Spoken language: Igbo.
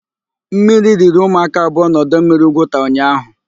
Mmiri riri ụmụaka abụọ na ọdọmmiri Ugwuta ụnyaahụ.